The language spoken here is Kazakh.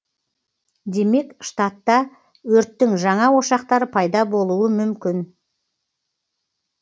демек штатта өрттің жаңа ошақтары пайда болуы мүмкін